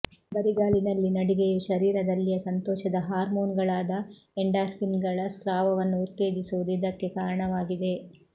ಬರಿಗಾಲಿನಲ್ಲಿ ನಡಿಗೆಯು ಶರೀರದಲ್ಲಿಯ ಸಂತೋಷದ ಹಾರ್ಮೋನ್ಗಳಾದ ಎಂಡಾರ್ಫಿನ್ಗಳ ಸ್ರಾವವನ್ನು ಉತ್ತೇಜಿಸುವುದು ಇದಕ್ಕೆ ಕಾರಣವಾಗಿದೆ